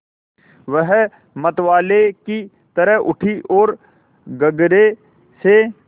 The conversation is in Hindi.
वह मतवाले की तरह उठी ओर गगरे से